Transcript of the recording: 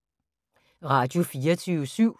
Radio24syv